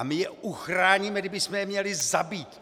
A my je uchráníme, i kdybychom je měli zabít!